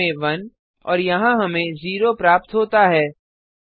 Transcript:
यहाँ हमें 1 और यहाँ हमें 0 प्राप्त होता है